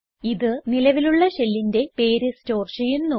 ഇത് നിലവിലുള്ള ഷെല്ലിന്റെ പേര് സ്റ്റോർ ചെയ്യുന്നു